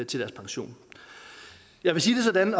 til deres pension jeg vil sige det sådan